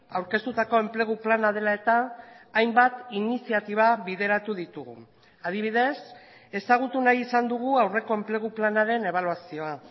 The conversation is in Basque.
aurkeztutako enplegu plana dela eta hainbat iniziatiba bideratu ditugu adibidez ezagutu nahi izan dugu aurreko enplegu planaren ebaluazioa